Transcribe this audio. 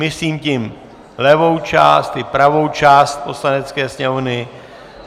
Myslím tím levou část i pravou část Poslanecké sněmovny.